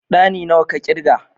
Ɗani nawa ka ƙirga?